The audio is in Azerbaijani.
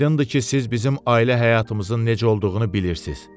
Aydındır ki, siz bizim ailə həyatımızın necə olduğunu bilirsiz.